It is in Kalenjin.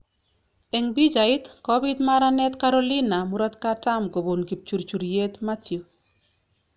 Eng pichait: Kobiit maranet Carolina murokatam kobun kipchurchuryet Matthew